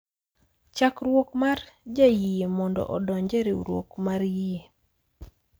Chakruok mar jayie mondo odonj e riwruok mar yie.